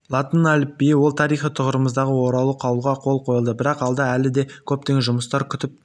латын әліпбиі ол тарихи тұғырымызға оралу қаулыға қол қойылды бірақ алда әлі де көптеген жұмыстар күтіп